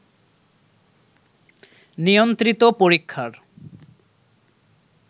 নিয়ন্ত্রিত পরীক্ষার